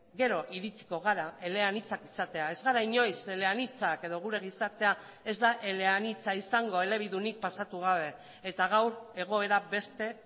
gero iritziko gara eleanitzak izatea ez gara inoiz eleanitzak edo gure gizartea ez da eleanitza izango elebidunik pasatu gabe eta gaur egoera beste